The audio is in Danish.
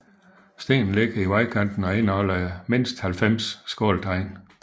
Stenen ligger i vejkanten og indeholder mindst 90 skåltegn